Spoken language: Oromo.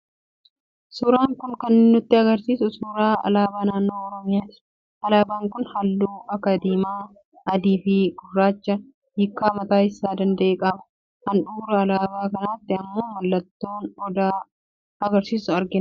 Suuraan kun kan nutti argisiisu suuraa alaabaa Naannoo Oromiyaati. Alaabaan kun halluu akka diimaa, adii fi gurraacha hiikkaa mataa isaa danda'e qaba. Handhuura alaabaa kanaatti immoo mallattoo odaa magariisaa argina.